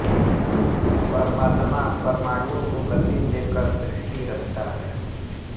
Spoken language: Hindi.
परमात्मा परमाणुओं को गति दे कर सृष्टि रचता है